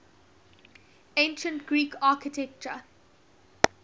ancient greek architecture